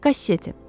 Kasseti.